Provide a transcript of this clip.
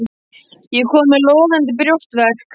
Ég er kominn með logandi brjóstverk.